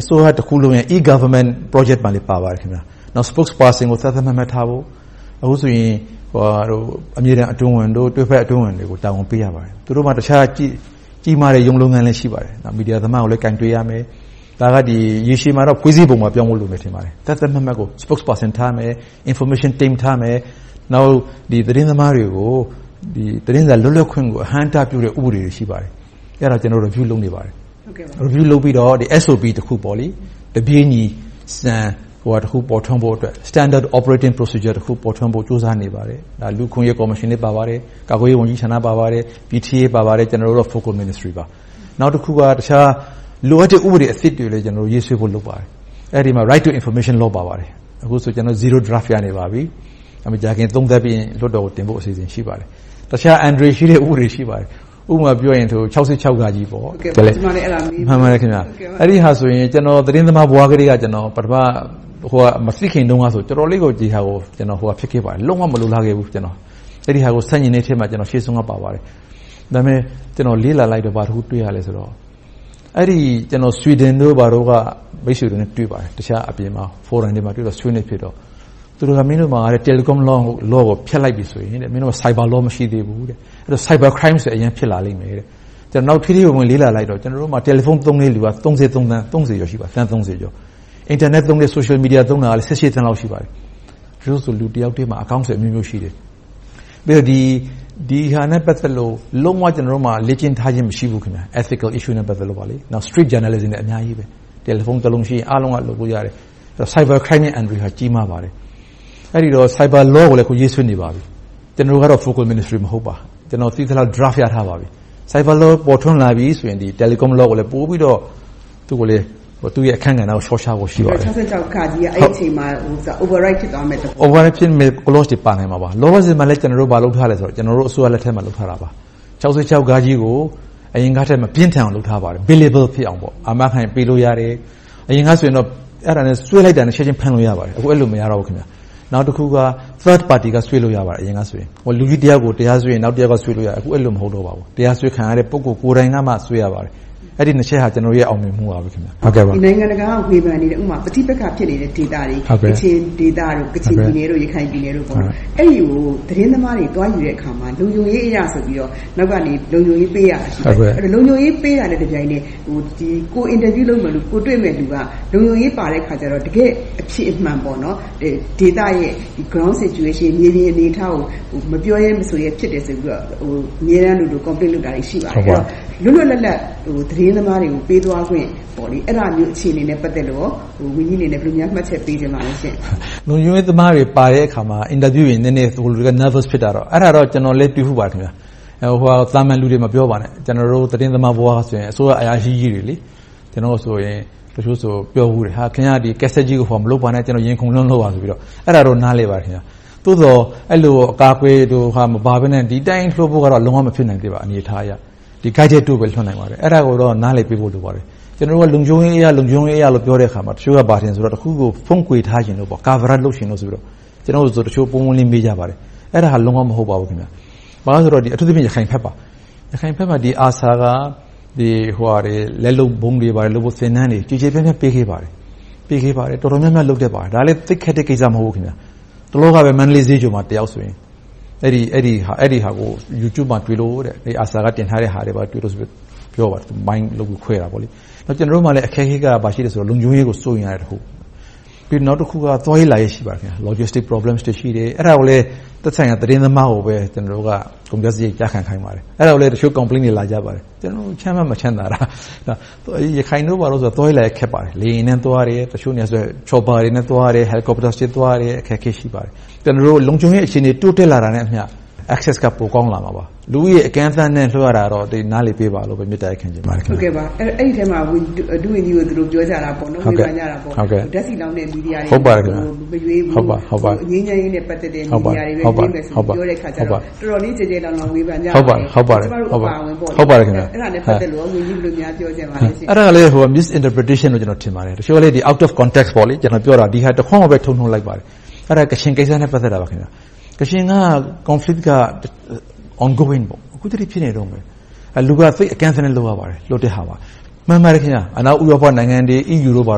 အစိုးရတခုလုံးရဲ့ e-Government Project မှာလည်း ပါပါတယ်။ နောက် Spokesperson ကို သတ်သတ်မှတ်မှတ်ထားဖို့ -အခုဆိုရင် အမြဲတမ်း အတွင်းဝန်၊ တွဲဘက်အတွင်းဝန်တွေကို တာဝန်ပေးရပါတယ်။ သူတို့မှာ တခြားကြီးမားတဲ့ ရုံးလုပ်ငန်းလည်း ရှိပါတယ်။ မီဒီယာသမားကိုလည်း ကိုင်တွယ်ရမယ်။ ဒါက ရေရှည်မှာတော့ ဖွဲ့စည်းပုံပါ ပြောင်းဖို့လိုမယ် ထင်ပါတယ်။ သတ်သတ်မှတ်မှတ် Spokesperson ထားရမယ်။ Information Team ထားမယ်။ နောက် သတင်းသမားတွေကို သတင်းစာ လွတ်လပ်ခွင့်ကို အဟန့်အတားဖြစ်စေတဲ့ ဥပဒေတွေ ရှိပါတယ်။ အဲဒါတွေကို ကျနော် Review လုပ်နေပါတယ်။ Review လုပ်ပြီးတော့ SOP တခု တပြေညီစံတခု ပေါ်ထွန်းဖို့အတွက် Standard Operation Procedure တခု ပေါ်ထွန်းဖို့ ကြိုးစားနေပါတယ်။ လူ့အခွင့်အရေးကော်မရှင်လည်း ပါပါတယ်။ ကာကွယ်ရေးဝန်ကြီးဌာန ပါပါတယ်။ ကျနော်တို့ ဝန်ကြီးဌာနပါ။ နောက်တခုက လိုအပ်တဲ့ ဥပဒေသစ်တွေ ရေးဆွဲဖို့ လုပ်နေပါတယ်။ အဲဒီမှာ Right to Information Laws ပါပါတယ်။ အခုဆိုရင် ကျနော်တို့ Zero Draft ရနေပါပြီ။ မကြာခင်သုံးသပ်ပြီးရင် လွှတ်တော်ကိုတင်ဖို့ အစီအစဉ် ရှိပါတယ်။ တခြားအန္တရာယ်ရှိတဲ့ ဥပဒေတွေ ရှိပါတယ်။ ဥပမာပြောရင် ၆၆ - အဲဒီဟာဆိုရင် ကျနော် သတင်းသမားဘဝထဲက မသိခင်တုန်းကဆိုရင် တော်တော်လေးကို ဒီဟာကို လုံးဝမလိုလားခဲ့ဘူး။ အဲဒါကို ဆန့်ကျင်တဲ့အထဲမှာ ထိပ်ဆုံးက ပါခဲ့ပါတယ်။ ဒါပေမဲ့ ကျနော်လေ့လာလိုက်တော့ ဘာတခုတွေ့ရသလဲဆိုတော့ Sweden တို့ ဘာတို့က မိတ်ဆွေတို့နဲ့ တွေ့ပါတယ်။ အပြင် Forum တွေမှာ ဆွေးနွေးခဲ့တော့ သူတို့က မင်းတို့မှာ… law ကို ဖျက်လိုက်ပြီဆိုရင် Cyber Law မရှိသေးဘူး။ အဲဒီတော့ Cyber Crimes တွေ အရမ်းဖြစ်လာလိမ့်မယ်။ အဲဒါကို ထဲထဲဝင်ဝင် လေ့လာလိုက်တော့ ကျနော်တို့မှာ Mobile phone သုံးတဲံလူက သန်းကျော် ရှိပါတယ်။ အင်တာနက်၊ Social Media သုံးတဲ့သူ သန်းလောက် ရှိပါတယ်။ တချို့ဆို လူတယောက်ထဲမှာ အကောင့်တွေအမျိုးမျိုး ရှိတယ်။ ဒီဟာနဲ့ ပတ်သက်လို့ လုံးဝ လေ့ကျင့်ထားခြင်း မရှိဘူး။ Ethical Issue နဲ့ ပတ်သက်လို့။ နောက် Street Journalism တွေက အများကြီးရှိတယ်။ Telephone တလုံးရှိရင် အားလုံးက လုပ်လို့ရတယ်။ Cyber Crime အန္တရာယ်က ကြီးမားပါတယ်။ အဲဒီတော့ Cyber Law ကိုလည်း အခုရေးဆွဲနေပါပြီ။ ကျနော်ကတော့ Focal Ministry မဟုတ်ပါ။ ကျနော် သိသလောက် Draft ရထားပါပြီ။ Cyber Law ပေါ်ထွန်းလာပြီဆိုရင် Telecom Law ကိုလည်း ပိုပြီးတော့ သူ့ရဲ့အခန်းကဏ္ဍကို စောင့်ရှောက်ဖို့ရှိပါတယ်။ ၆၆ အဲဒီအချိန်မှာ Overwrite ဖြစ်သွားမယ့်သဘောပေါ့။ Overwrite ဖြစ်မယ့် Clauses တွေ ပါမှာပါ။ လောလောဆယ်မှာ ဘာလုပ်ထားသလဲဆိုတော့ ကျနော်တို့ အစိုးရလက်ထက်မှာ လုပ်ထားတာပါ။ ၆၆ ကို အရင်ကထက် မပြင်းထန်အောင် လုပ်ထားပါတယ်။ Payable ဖြစ်အောင်လို့ အာမခံပေးလို့ရတယ်။ အရင်ကဆို အဲဒါနဲ့ ဆွဲလိုက်တာနဲ့ ချက်ချင်းဖမ်းလို့ ရပါတယ်။ အခု အဲဒီလို မဟုတ်ပါဘူး။ နောက်တခုက Third Party က ဆွဲလို့ရတယ် အရင်ကဆို။ လူတယောက်ကို တရားဆွဲရင် နောက်တယောက်က ဆွဲလို့ရတယ်။ အခု အဲဒီလို မဟုတ်တော့ပါဘူး။ တရားစွဲခံရတဲ့ ပုဂ္ဂိုလ်ကိုယ်တိုင်ကမှ ဆွဲရပါတယ်။ အဲဒီနှစ်ချက်က ကျနော်တို့ရဲ့ အောင်မြင်မှုပါ။ နိုင်ငံတကာက ဝေဖန်နေတဲ့ ပဋိပက္ခ ဖြစ်နေတဲ့ ဒေသတွေ၊ ကချင်ပြည်နယ်၊ ရခိုင်ပြည်နယ်တို့ အဲဒီဒေသတွေကို သတင်းသမားတွေ သတင်းသွားယူတဲ့အခါမှာ လုံခြုံရေးအရဆိုပြီးတော့ နောက်ကနေ လုံခြုံရေးပေးရတာ ရှိတယ်။ လုံခြုံရေးပေးတာနဲ့ တပြိုက်နက်ထဲ ကိုယ်တွေ့မယ့်လူက လုံခြုံရေးပါတဲ့အခါကြတော့ တကယ့်အဖြစ်အမှန် ဒေသရဲ့ Ground Situation မြေပြင်အနေအထားကို မပြောရဲ မဆိုရဲ ဖြစ်တယ်ဆိုပြီးတော့ အမြဲတမ်းလိုလို Complaint လုပ်တာတွေ ရှိပါတယ်။ လွတ်လွတ်လပ်လပ် သတင်းသမားတွေကို ပေးသွားခွင့်၊ အဲဒါမျိုး အခြေအနေနဲ့ ပတ်သက်လို့ ဝန်ကြီးအနေနဲ့ ဘယ်လိုများ မှတ်ချက်ပေးချင်ပါလဲ။ လုံခြုံရေးသမားတွေပါတဲ့အခါ အင်တာဗျူးတွေ နည်းနည်း Nervous ဖြစ်တာတော့ ကျနော်လည်း တွေ့ဖူးပါတယ်။ သာမန်လူတွေ မပြောပါနဲ့ ကျနော်တို့ သတင်းသမားဘဝကဆိုရင် အစိုးရအရာရှိကြီးတွေ - တချို့ဆို ပြောဖူးတယ် - ခင်များ ကတ်ဆက်ကြီးကို ဟိုဟာမလုပ်ပါနဲ့ ကျနော် ရင်ခုန်လွန်လို့ပါဆိုပြီးတော့ - အဲဒါတော့ နားလည်ပါတယ်။ သို့သော် အဲဒီလို အကာအကွယ်မပါဘဲနဲ့ ဒီအတိုင်းလွှတ်ဖို့ကတော့ လုံးဝမဖြစ်နိုင်သေးပါ အနေအထားအရ။ ဒီအတိုင်းပဲ လွှတ်နိုင်ပါသေးတယ်။ အဲဒါကိုတော့ နားလည်ပေးဖို့ လိုပါတယ်။ ကျနော်တို့က လုံခြုံရေးအရလို့ ပြောတဲ့အခါမှာ တချို့က ဘာထင်သလဲဆိုရင် တခုခုကို ဖုံးကွယ်ထားချင်လို့၊ Coverage လုပ်ချင်လို့ဆိုပြီးတော့ ကျနော်ကို တချို့ ပွင့်ပွင့်လင်းလင်း မေးကြပါတယ်။ အဲဒါ လုံးဝ မဟုတ်ပါဘူး။ ဘာဖြစ်လို့လဲဆိုတော့ အထူးသဖြင့် ရခိုင်ဘက်ပါ။ ရခိုင်ဘက်မှာ ARSA က လက်လုပ်ဗုံးတွေလုပ်ဖို့ သင်တန်းတွေ ကျယ်ကျယ်ပြန့်ပြန့် ပေးခဲ့ပါတယ်။ တော်တော်များများ လုပ်တတ်ပါတယ်။ ဒါလဲ သိပ်ခက်တဲ့ကိစ္စ မဟုတ်ပါဘူး။ တလောကဆို မန္တလေးဈေးချိုမှာ အဲဒီဟာကို Youtube မှာ ARSA က တင်ထားတာ တွေ့လို့ဆိုပြီး ပြောပါတယ်။ ကျနော်တို့မှာ အခက်အခဲက ဘာရှိလဲဆိုတော့ လုံခြုံရေးကို စိုးရိမ်ရတဲ့တခု။ ပြီးတော့ သွားရေးလာရေး ရှိပါတယ်။ Logistic Problem တွေ ရှိတယ်။ အဲဒါကိုလဲ သက်ဆိုင်ရာ သတင်းသမားကိုပဲ ကျနော်တို့က ကုန်ကျစရိတ် ကျခံခိုင်းပါတယ်။ အဲဒါကိုလဲ တချို့ Complaints တွေ လာကြပါတယ်။ ကျနော်တို့က ချမ်းမှမချမ်းသာတာ - ရခိုင်တို့ဘာတို့ဆို သွားရေးလာရေး ခက်ပါတယ်။ လေယာဉ်နဲ့သွားတယ်။ တချို့နေရာတွေဆို Chopper တွေနဲ့ သွားတယ်။ Helicopter တွေနဲ့ သွားရတယ်။ အခက်အခဲ ရှိပါတယ်။ ကျနော်တို့ လုံခြုံရေး အခြေအနေ တိုးတက်လာတာနဲ့အမျှ Access က ပိုကောင်းလာမှာပါ။ လူဦးရေ အကန့်အသတ်နဲ့ လွှတ်ရတာတော့ နားလည်ပေးပါလို့ မေတ္တာရပ်ခံချင်ပါတယ်။ အဲဒီအထဲမှာ ဒုဝန်ကြီးကို ပြောကြတာက ဝေဖန်ကြတာက ဓါတ်ဆီလောင်းတဲ့ မီဒီယာတွေကို မရွေးဘူး၊ ငြိမ်းချမ်းရေးနဲ့ ပတ်သက်တဲ့ မီဒီယာတွေပဲ ပြောတဲ့ဟာကို တော်တော်လေး ကျယ်ကျယ်လောင်လောင် ဝေဖန်ကြပါတယ်။ ကျမတို့ အပါအဝင် - အဲဒါနဲ့ ပတ်သက်လို့ ဝန်ကြီး ဘယ်လိုများ ပြောချင်ပါလဲ။ အဲဒါလဲ Misinterpretation လို့ ကျနော် ထင်ပါတယ်။ တချို့က Out of context ကျနော် ပြောတာကို ဒီဟာတခွန်းကိုပဲ ထုတ်နုတ်လိုက်ပါတယ်။ အဲဒါ ကချင်ကိစ္စနဲ့ ပတ်သက်တာပါ။ ကချင်က Conflict က Ongoing အခုထက်ထိ ဖြစ်နေတုန်းပါ။ လူက အကန့်အသတ်နဲ့ လွှတ်ရပါတယ်။ မှန်ပါတယ် - အနောက်ဥရောပနိုင်ငံတွေ၊ EU တို့က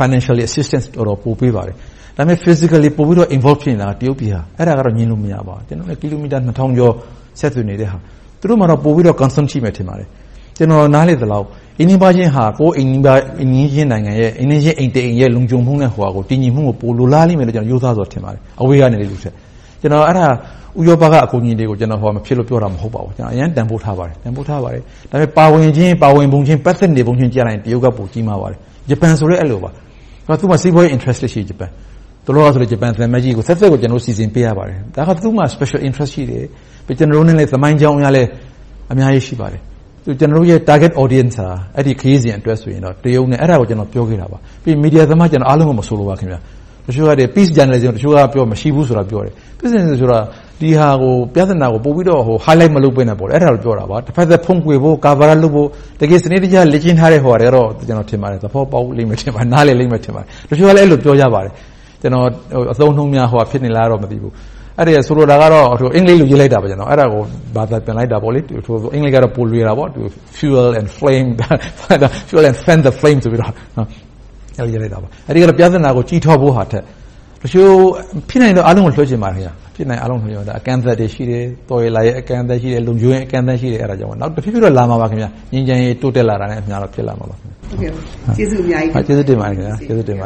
Financial Assistance တွေ ပေးပါတယ်။ ဒါပေမဲ့ Physically involve ဖြစ်နေတာက တရုတ်ပြည်က ဖြစ်ပါတယ်။ အဲဒါက ငြင်းလို့ မရပါဘူး။ ကျနော်တို့နဲ့ ကီလိုမီတာ နှစ်ထောင်ကျော် ဆက်သွယ်နေတဲ့ဟာ။ သူတို့မှာ ပိုပြီးတော့ Concern ရှိမှာပါ။ ကျနော် နားလည်သလောက် အိမ်နီးနားချင်းက ပိုပြီးတော့ အိမ်နီးချင်းအိမ်တအိမ်ရဲ့ လုံခြုံမှုနဲ့ တည်ငြိမ်မှုကို ပိုလိုလားလိမ့်မယ်လို့ ကျနော် ရိုးသားစွာထင်ပါတယ်။ အဲဒါ ဥရောပက အကူအညီတွေကို ဟိုဟာမဖြစ်လို့ ပြောတာ မဟုတ်ပါဘူး။ အရမ်းတန်းဖိုးထားပါတယ်။ ဒါပေမဲ့ ပါဝင်ခြင်း၊ ပတ်သက်ပုံခြင်းမှာ တရုတ်က ပိုကြီးမားပါတယ်။ ဂျပန်ဆိုလဲ အဲဒီလိုပါ။ သူတို့က စီးပွားရေး Interest ရှိတယ်။ တလောက ဂျပန်သံအမတ်ကြီးကို သတ်သတ်စီစဉ်ပေးရပါတယ်။ ဒါက သူတို့မှာ Special Interest ရှိတယ်။ ကျနော်တို့နဲ့ သမိုင်းကြောင်းအရလည်း အများကြီး ရှိပါတယ်။ ကျနော်တို့ရဲ့ Target Audience ဟာ အဲဒီခရီးစဉ်အတွက် တရုတ်နဲ့… အဲဒါကို ကျနော် ပြောခဲ့တာပါ။ မီဒီယာသမား အားလုံးကို မဆိုလိုပါဘူး တချို့က Peace မရှိဘူးလို့ ပြောတယ်။ ပြဿနာကို ပိုပြီးတော့ Highlight မလုပ်ဘဲနဲ့ အဲဒါကိုပြောတာပါ။ တဘက်သတ် ဖုံးကွယ်ဖို့၊ ကာကွယ်ဖို့ စနစ်တကျ လေ့ကျင့်ထားတဲ့ ဟိုဟာတွေကတော့ နားလည်လိမ့်မယ်၊ သဘောပေါက်လိမ့်မယ် ထင်ပါတယ်။ တချို့ကလည်း ပြောကြပါတယ်။ ကျနော် အသုံးအနှုန်းများ ဟိုဟာဖြစ်နေလား မသိဘူး။ ဆိုလိုတာကတော့ အင်္ဂလိပ်လို့ ရေးလိုက်တာပါ။ အဲဒါကို ဘာသာပြန်လိုက်တာပါ။ အင်္ဂလိပ်ကတော့ ပိုလွယ်တာပေါ့ To fuel the flame.. fan the flame ဆိုပြီးတော့ အဲဒါ ပြဿနာကို ကြီးထွားဖို့ဟာထက် ဖြစ်နိုင်ရင် အားလုံးကို ပြောချင်ပါတယ် အကန့်အသတ်တွေ ရှိတယ်။ လုံခြုံရေး အကန့်အသတ်တွေ ရှိတယ်။ နောက် တဖြည်းဖြည်းတော့ လာမှာပါ။ ငြိမ်းချမ်းရေး တိုးတက်လာတာနဲ့အမျှ ဖြစ်လာမှာပါ။ ကျေးဇူးအများကြီးတင်ပါတယ်။ ကျေးဇူးတင်ပါတယ